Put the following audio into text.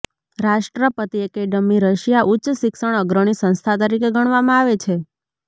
રાષ્ટ્રપતિ academy Russia ઉચ્ચ શિક્ષણ અગ્રણી સંસ્થા તરીકે ગણવામાં આવે છે